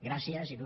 gràcies il